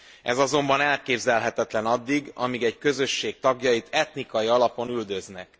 Ez azonban elképzelhetetlen addig, amíg egy közösség tagjait etnikai alapon üldözik.